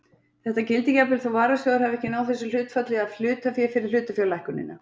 Þetta gildir jafnvel þó varasjóður hafi ekki náð þessu hlutfalli af hlutafé fyrir hlutafjárlækkunina.